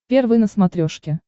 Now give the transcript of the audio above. первый на смотрешке